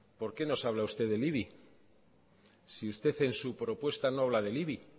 por qué nos habla usted del ibi si usted en su propuesta no habla del ibi